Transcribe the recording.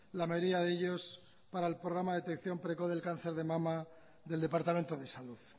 la mayoría de ellos para el programa de detección precoz del cáncer de mama del departamento de salud